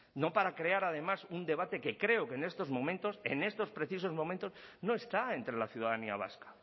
no para crear además un debate que creo que en estos momentos en estos precisos momentos no está entre la ciudadanía vasca